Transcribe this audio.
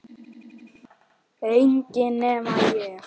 Enginn nema ég